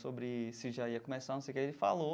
sobre se já ia começar, não sei o que, ele falou.